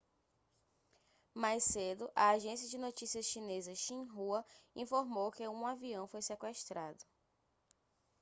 mais cedo a agência de notícias chinesa xinhua informou que um avião foi sequestrado